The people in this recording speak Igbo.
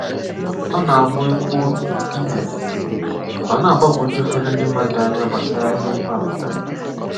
Ọ̀ ná-àbụ̀ é kwùọ 'Igbo', ọ̀ ná-àgbàgwùjú ụ̀fọdụ̀ ndị́ mmadụ̀ ánya gbasàrà ìhè okwu á pụtara.